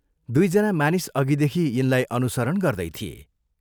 दुइ जना मानिस अघिदेखि यिनलाई अनुसरण गर्दै थिए।